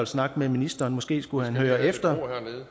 snakke med ministeren måske skulle han høre efter